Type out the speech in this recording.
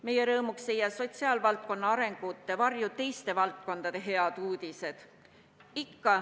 Meie rõõmuks ei jää sotsiaalvaldkonna arengute varju teiste valdkondade head uudised.